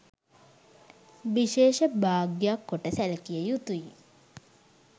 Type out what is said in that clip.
විශේෂ භාග්‍යයක් කොට සැලකිය යුතුය.